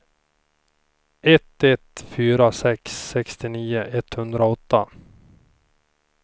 ett ett fyra sex sextionio etthundraåtta